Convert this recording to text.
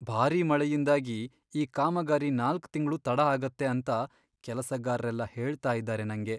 ಭಾರಿ ಮಳೆಯಿಂದಾಗಿ, ಈ ಕಾಮಗಾರಿ ನಾಲ್ಕ್ ತಿಂಗ್ಳು ತಡ ಆಗತ್ತೆ ಅಂತ ಕೆಲಸಗಾರ್ರೆಲ್ಲ ಹೇಳ್ತಾ ಇದಾರೆ ನಂಗೆ.